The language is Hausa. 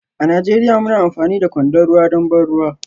A Najeriya muna amfani da kwandon ruwa don ban ruwa